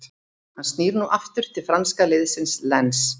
Hann snýr nú aftur til franska liðsins Lens.